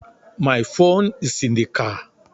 My phone is in the car